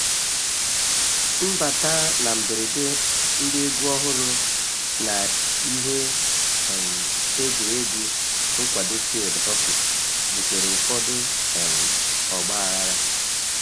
Mbata na mgberede ndị egwu ọhụrụ na ihe um egwuregwu nkwado field hockey butere ụfọdụ um ọgbaghara